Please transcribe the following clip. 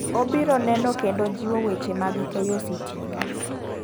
Obiro neno kendo jiwo weche mag keyo mach sitima.